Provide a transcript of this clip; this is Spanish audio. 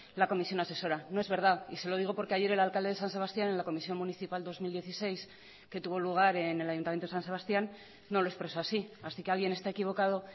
la comisión asesora no es verdad y se lo digo porque ayer el alcalde de san sebastián en la comisión municipal dos mil dieciséis que tuvo lugar en el ayuntamiento de san sebastián no lo expresó así así que alguien está equivocado